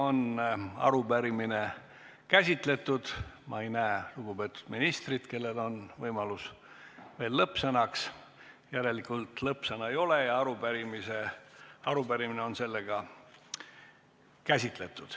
Ma ei näe lugupeetud ministrit, kellel oleks muidu veel võimalus lõppsõnaks, järelikult lõppsõna ei ole ja arupärimine on käsitletud.